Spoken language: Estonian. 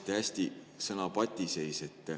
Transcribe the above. Te mainisite sõna "patiseis".